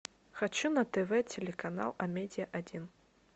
хочу на тв телеканал амедиа один